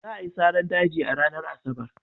Za a yi saran daji a ranar Asabar.